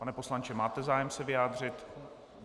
Pane poslanče, máte zájem se vyjádřit?